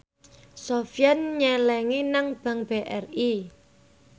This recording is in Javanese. Sofyan nyelengi nang bank BRI